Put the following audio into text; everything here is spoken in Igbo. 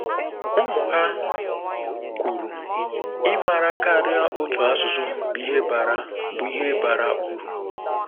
Ụmụ ha kwuru: “Ịmara karịa otu asụsụ bụ ihe bara bụ ihe bara uru.”